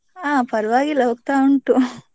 ಹಾ ಪರ್ವಾಗಿಲ್ಲಾ ಹೋಗ್ತಾ ಉಂಟು.